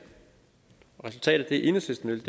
resultatet af det enhedslisten vil